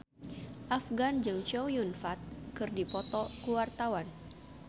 Afgan jeung Chow Yun Fat keur dipoto ku wartawan